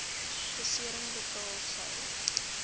besering betaal sou